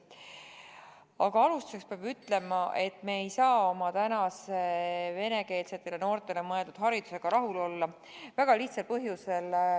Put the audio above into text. Aga alustuseks peab ütlema, et me ei saa oma tänase venekeelsetele noortele mõeldud haridusega rahul olla väga lihtsal põhjusel.